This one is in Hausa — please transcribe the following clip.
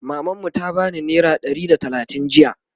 maman mu ta bani naira Ɗari da talatin jiya